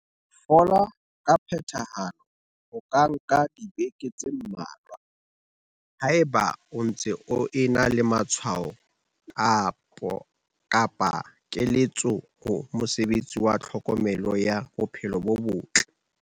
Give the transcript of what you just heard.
Ho fola ka phethahalo ho ka nka dibeke tse mmalwa. Haeba o ntse o ena le matshwao, kopa keletso ho mosebetsi wa tlhokomelo ya bophelo bo botle.